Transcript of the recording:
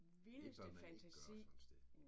Det bør man ikke gøre sådan et sted